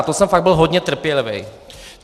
A to jsem fakt byl hodně trpělivý.